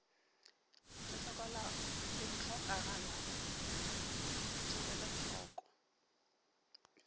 le hlokagalago di elwe hloko